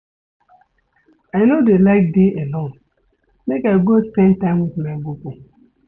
I no dey like dey alone, make I go spend time wit my bobo.